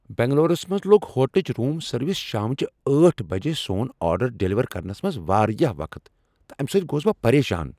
بنگلورس منز لوگ ہوٹلٕچ روس سروس شام چہ ٲٹھہ بج سون آرڈر ڈیلیور کرنس منٛز واریاہ وقت تہٕ امہ سۭتۍ گوس بہٕ پریشان۔